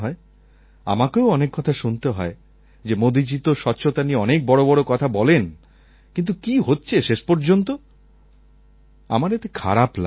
আমাকেও অনেক কথা শুনতে হয় যে মোদীজী তো স্বচ্ছতা নিয়ে অনেক বড় বড় কথা বলেন কিন্তু কী হচ্ছে শেষ পর্যন্ত আমার এতে খারাপ লাগে না